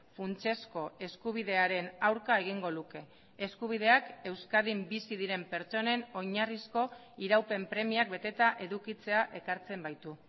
funtsezko eskubidearen aurka egingo luke eskubideak euskadin bizi diren pertsonen oinarrizko iraupen premiak beteta edukitzea ekartzen baitu